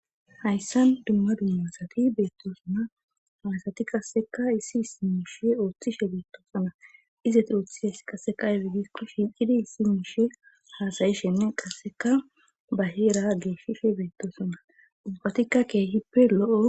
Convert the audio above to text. hayssan dumma dummasati beettosonna hayasati qasseka issi isimuushe ooththishe beettosona izati ooththishes qasseka aybe gikko shiicidi issi miishe haasayishenne qasseka ba heera geeshishe beettosona upatikka keehippe lo7o